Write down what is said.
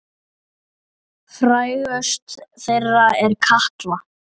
Frægust þeirra er Katla.